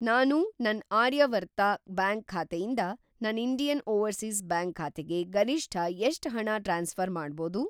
ನಾನು ನನ್‌ ಆರ್ಯಾವರ್ತ ಬ್ಯಾಂಕ್ ಖಾತೆಯಿಂದ ನನ್‌ ಇಂಡಿಯನ್‌ ಓವರ್‌ಸೀಸ್‌ ಬ್ಯಾಂಕ್ ಖಾತೆಗೆ ಗರಿಷ್ಠ ಎಷ್ಟ್‌ ಹಣ ಟ್ರಾನ್ಸ್‌ಫ಼ರ್‌ ಮಾಡ್ಬೋದು?